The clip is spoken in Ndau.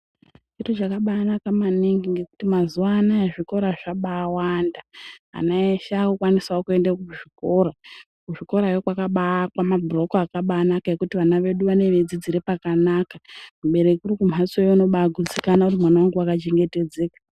Kuti zvakabanaka maningi ngekuti mazuwa anaya zvikora zvabawanda ana eshe akukwanisawo kuenda kuzvikora, kuzvikorayo kwakabaakwa mabhuroku akabanaka ekuti vana vedu vane veidzidzire pakanaka, mubereki uri kumbatsoyo unobagutsikana kuti mwana wangu wakachengetedzeka.